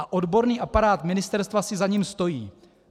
A odborný aparát ministerstva si za ním stojí.